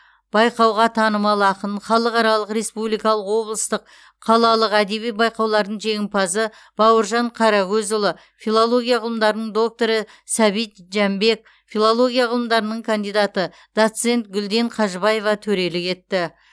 байқауға танымал ақын халықаралық республикалық облыстық қалалық әдеби байқаулардың жеңімпазы бауыржан қарагөзұлы филология ғылымдарының докторы сәбит жәмбек филология ғылымдарының кандидаты доцент гүлден қажыбаева төрелік етті